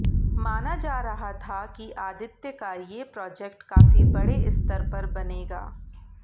माना जा रहा था कि आदित्य का ये प्रोजेक्ट काफी बड़े स्तर पर बनेगा